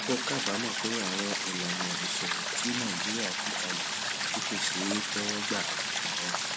ó kábàámò pé àwọn ìlànà ìṣòwò tí nàìjíríà gbé kalẹ tí kò ṣeé téwó gbà láwọn